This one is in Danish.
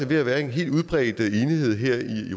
ved at være en helt udbredt enighed her i